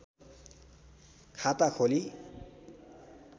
खाता खोली